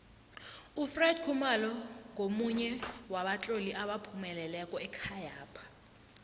ufred khumalo ngomunye wabatloli abaphumeleleko ekhayapha